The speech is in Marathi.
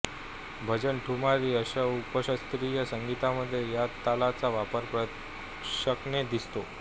भजन ठुमरी अशा उपशास्त्रीय संगीतामधे या तालाचा वापर प्रकर्षाने दिसतो